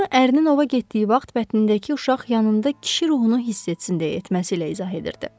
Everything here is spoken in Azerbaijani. Bunu ərinin ova getdiyi vaxt bətnindəki uşaq yanında kişi ruhunu hiss etsin deyə etməsi ilə izah edirdi.